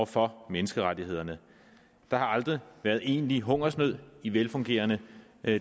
for menneskerettighederne der har aldrig været egentlig hungersnød i velfungerende